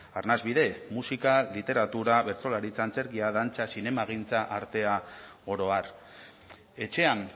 arnasbide musika literatura bertsolaritza antzerkia dantza zinemagintza artea oro har etxean